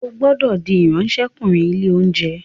O gbódò dì Ìráńṣẹ́kùnrin ilé-oúnjẹ!